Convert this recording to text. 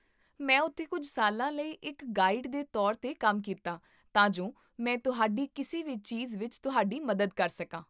ਮੈਂ ਉੱਥੇ ਕੁੱਝ ਸਾਲਾਂ ਲਈ ਇੱਕ ਗਾਈਡ ਦੇ ਤੌਰ 'ਤੇ ਕੰਮ ਕੀਤਾ ਤਾਂ ਜੋ ਮੈਂ ਤੁਹਾਡੀ ਕਿਸੇ ਵੀ ਚੀਜ਼ ਵਿੱਚ ਤੁਹਾਡੀ ਮਦਦ ਕਰ ਸਕਾਂ